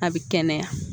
A bɛ kɛnɛya